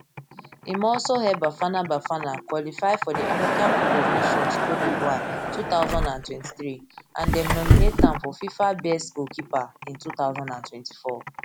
im also help bafana bafana qualify for di africa cup of nations cote divoire two thousand and twenty-three and dem nominate am for fifa best goalkeeper in two thousand and twenty-four